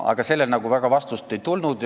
Aga sellele nagu väga vastust ei tulnud.